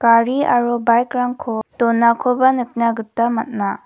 gari aro bikerangko donakoba nikna gita man·a.